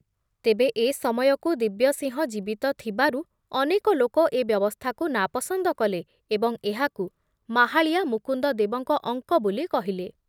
ତେବେ ଏ ସମୟକୁ ଦିବ୍ୟସିଂହ ଜୀବିତ ଥବାରୁ ଅନେକ ଲୋକ ଏ ବ୍ୟବସ୍ଥାକୁ ନାପସନ୍ଦ କଲେ ଏବଂ ଏହାକୁ ମାହାଳିଆ ମୁକୁନ୍ଦଦେବଙ୍କ ଅଙ୍କ ବୋଲି କହିଲେ ।